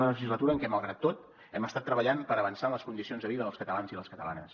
una legislatura en què malgrat tot hem estat treballant per avançar en les condicions de vida dels catalans i les catalanes